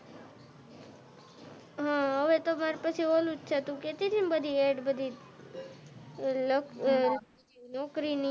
હા હવે તો માર પાસે ઓલું છે તું કેહતી તે ને બધી એડ નોકરી ની